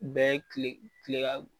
Bɛɛ ye kile kile ka